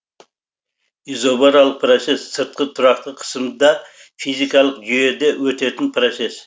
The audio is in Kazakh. изобаралық процесс сыртқы тұрақты қысымда физикалық жүйеде өтетін процесс